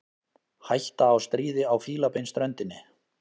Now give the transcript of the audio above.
Hætta á stríði á Fílabeinsströndinni